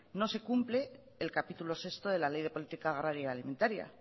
no se cumple el capítulo sexto de la ley de política agraria y alimentaria